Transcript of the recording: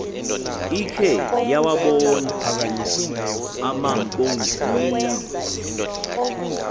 ikhe yawabon amaboninge